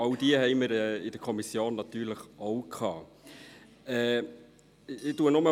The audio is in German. All dies hatten wir in der Kommission natürlich auch.